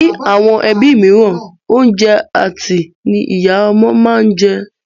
Ní àwọn ẹbí mìíràn, oúnjẹ àtẹ́ ní ìyá ọmọ máa ń jẹ.